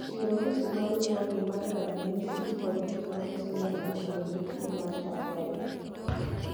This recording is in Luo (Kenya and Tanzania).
chiwo list ma luwogi mag ranyisi kod gik ma nyiso ni ng’ato nigi tuwo mar Tukel."